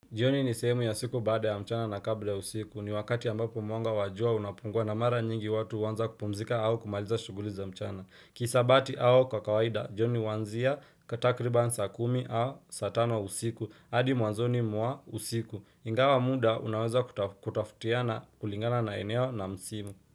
Jioni ni sehemu ya siku baada ya mchana na kabla ya usiku. Ni wakati ambapo mwanga wa jua unapungua na mara nyingi watu huanza kupumzika au kumaliza shughuli za mchana. Kihisabati au kwa kawaida, jioni huanzia ka takriban saa kumi au saa tano usiku. Adi mwanzoni mwa usiku. Ingawa muda unaweza kutafutiana kulingana na eneo na msimu.